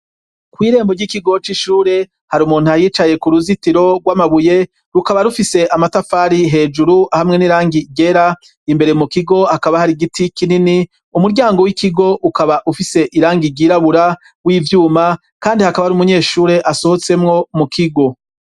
Kwirembo ry'ikigo c'ishure hari umuntu ahicaye ku ruzitiro gw'amabuye rukaba rufise amatafari hejuru hamwe n'irangi ryera imbere mu kigo hakaba hari igiti kinini umuryango w'ikigo ukaba ufise irangi ryirabura w'ivyuma kandi hakaba hari umunyeshure asohotsemwo mu kigo.